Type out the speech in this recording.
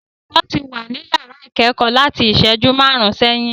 Olùkọ́ ti wà ní yàrá ìkẹ́kọ̀ọ́ láti ìṣẹ́jú márùn-ún sẹ́yìn.